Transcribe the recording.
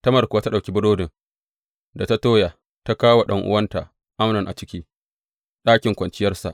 Tamar kuwa ta ɗauki burodin da ta toya, ta kawo wa ɗan’uwanta Amnon a ciki ɗakin kwanciyarsa.